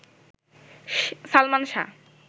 Salman Shah